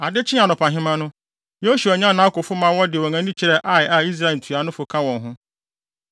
Ade kyee anɔpahema no, Yosua nyan nʼakofo ma wɔde wɔn ani kyerɛɛ Ai a Israel ntuanofo ka wɔn ho.